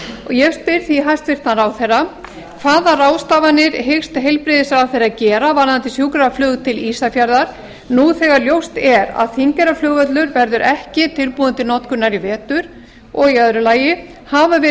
ég spyr því hæstvirtan ráðherra fyrst hvaða ráðstafanir hyggst heilbrigðisráðherra gera varðandi sjúkraflug til ísafjarðar nú þegar ljóst er að þingeyrarflugvöllur verður ekki tilbúinn til notkunar í vetur annars hafa verið